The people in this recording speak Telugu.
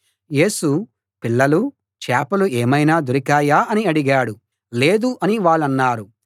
యేసు పిల్లలూ చేపలు ఏమైనా దొరికాయా అని అడిగాడు లేదు అని వాళ్ళన్నారు